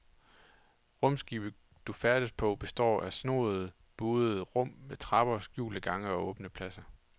Rumskibet du færdes på består af snoede, buede rum med trapper, skjulte gange og åbne pladser.